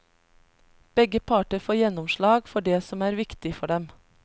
Begge parter får gjennomslag for det som er viktig for dem.